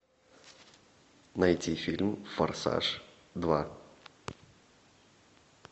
найти фильм форсаж два